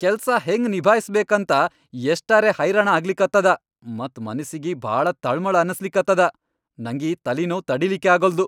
ಕೆಲ್ಸ ಹೆಂಗ್ ನಿಭಾಯ್ಸ್ಬೇಕಂತ ಯಷ್ಟರೇ ಹೈರಾಣ ಆಗ್ಲಿಕತ್ತದ ಮತ್ ಮನಸ್ಸಿಗಿ ಭಾಳ ತಳ್ಮಳ್ ಅನಸ್ಲಿಗತ್ತದ, ನಂಗೀ ತಲಿನೋವ್ ತಡೀಲಿಕ್ಕೇ ಆಗಲ್ದು.